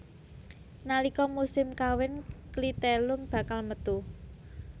Nalika musim kawin klitelum bakal metu